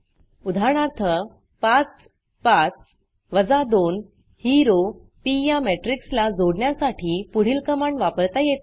उदाहरणार्थ 5 5 2 ही रो पी या matrixमेट्रिक्स ला जोडण्यासाठी पुढील कमांड वापरता येते